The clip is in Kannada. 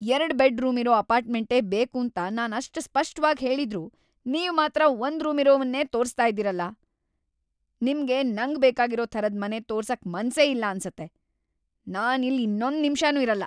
ಎರ್ಡ್ ಬೆಡ್‌ ರೂಮಿರೋ ಅಪಾರ್ಟ್‌ಮೆಂಟೇ ಬೇಕೂಂತ ನಾನ್ ಅಷ್ಟ್‌ ಸ್ಪಷ್ಟವಾಗ್‌ ಹೇಳಿದ್ರೂ ನೀವ್‌ ಮಾತ್ರ ಒಂದ್‌ ರೂಮಿರೋವನ್ನೇ ತೋರ್ಸ್ತಾ ಇದೀರಲ! ನಿಮ್ಗೆ ನಂಗ್‌ ಬೇಕಾಗಿರೋ ಥರದ್‌ ಮನೆ ತೋರ್ಸಕ್ಕೆ ಮನ್ಸೇ ಇಲ್ಲ ಅನ್ಸತ್ತೆ, ನಾನ್‌ ಇಲ್ಲ್‌ ಇನ್ನೊಂದ್‌ ನಿಮ್ಷನೂ ಇರಲ್ಲ.